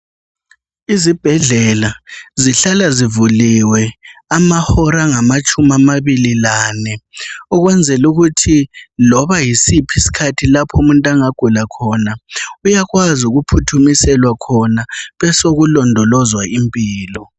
Izibhedlela zihlala zivuliwe, amahola angamatshumi amabili, lane. Ukwenzela ukuthi loba yisiphi isikhathi umuntu angagula khona. Uyakwazi ukuphuthumiselwa khona. Kubesekulondolozwa impilo.